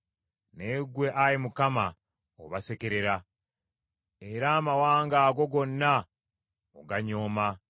Naye ggwe, Ayi Mukama , obasekerera, era amawanga ago gonna oganyooma.